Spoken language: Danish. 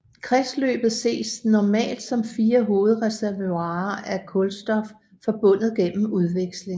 Kredsløbet ses normalt som fire hovedreservoirer af kulstof forbundet gennem udveksling